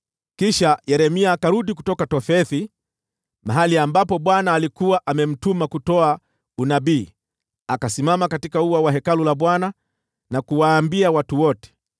Kisha Yeremia akarudi kutoka Tofethi, mahali ambapo Bwana alikuwa amemtuma kutoa unabii, akasimama katika ua wa Hekalu la Bwana na kuwaambia watu wote,